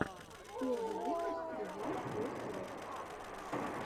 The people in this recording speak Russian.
первый выпуск ревайвйоселф